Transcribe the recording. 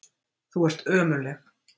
Þú ert ömurleg.